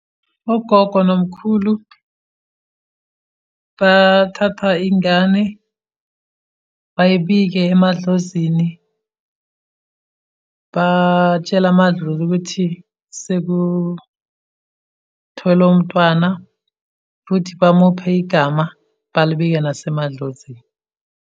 Ogogo nomkhulu bathatha ingane, bayibike emadlozini, batshele amadlozi ukuthi, sekutholwe umntwana, futhi bamuphe igama balibike nasemadlozini.